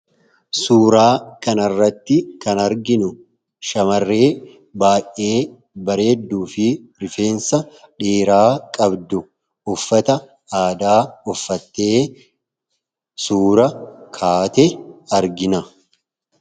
Suuraa kanarratti kan arginu shamarree baay'ee bareedduu fi rifeensa dheeraa qabdu uffata aadaa uffattee suuraa kaate argina.